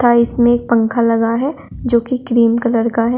में पंखा लगा है जो की क्रीम कलर का है।